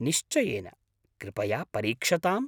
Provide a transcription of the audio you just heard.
निश्चयेन कृपया परीक्षताम्!